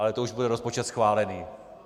Ale to už bude rozpočet schválený.